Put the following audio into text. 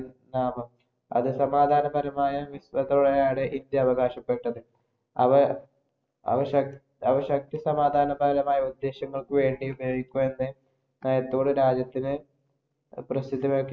അതു സമാധാനപരമായ വിപ്ലവത്തെയാണ് ഇന്ത്യ അവകാശപ്പെട്ടത്. അവ ശക് അവ ശക്തി സമാധാനപരമായ ഉദ്ദേശ്യങ്ങള്‍ക്ക് വേണ്ടി ഉപയോഗിക്കൂ എന്ന നയത്തോട് രാജ്യത്തിന്